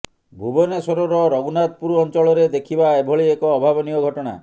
ଭୁବନେଶ୍ୱରର ରଘୁନାଥପୁର ଅଂଚଳରେ ଦେଖିବା ଏଭଳି ଏକ ଅଭାବନୀୟ ଘଟଣା